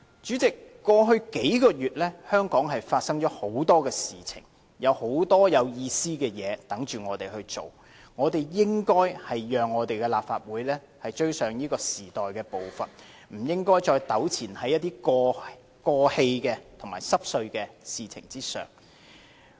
主席，過去數個月，香港發生了很多事情，有很多有意義的事在等候我們做，我們應該讓立法會追上時代的步伐，不應該再糾纏在過氣和瑣碎的事情上。